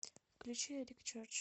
включи эрик черч